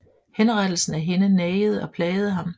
Henrettelsen af hende nagede og plagede ham